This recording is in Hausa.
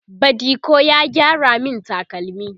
badiko ya gyara min takalmi